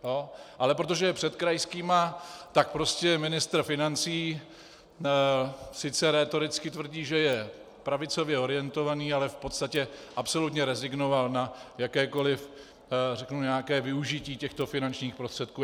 Ale protože je před krajskými, tak prostě ministr financí sice rétoricky tvrdí, že je pravicově orientovaný, ale v podstatě absolutně rezignoval na jakékoliv, řeknu, nějaké využití těchto finančních prostředků.